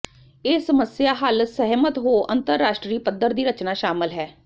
ਇਹ ਸਮੱਸਿਆ ਹੱਲ ਸਹਿਮਤ ਹੋ ਅੰਤਰਰਾਸ਼ਟਰੀ ਪੱਧਰ ਦੀ ਰਚਨਾ ਸ਼ਾਮਲ ਹੈ